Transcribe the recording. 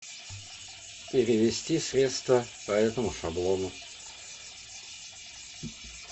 перевести средства по этому шаблону